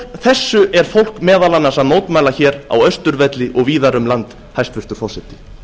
þessu er fólk meðal annars að mótmæla hér á austurvelli og víðar um land hæstvirtur forseti